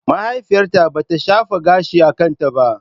Mahaifiyata bata shafa gashin a kanta ba.